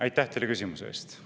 Aitäh teile küsimuse eest!